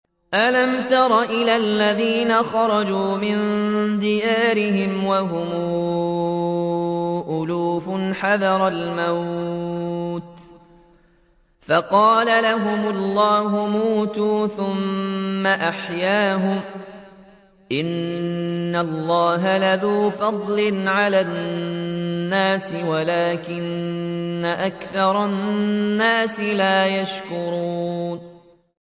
۞ أَلَمْ تَرَ إِلَى الَّذِينَ خَرَجُوا مِن دِيَارِهِمْ وَهُمْ أُلُوفٌ حَذَرَ الْمَوْتِ فَقَالَ لَهُمُ اللَّهُ مُوتُوا ثُمَّ أَحْيَاهُمْ ۚ إِنَّ اللَّهَ لَذُو فَضْلٍ عَلَى النَّاسِ وَلَٰكِنَّ أَكْثَرَ النَّاسِ لَا يَشْكُرُونَ